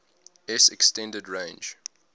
s extended range